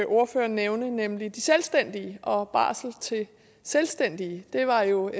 ordføreren nævne nemlig de selvstændige og barsel til selvstændige det var jo et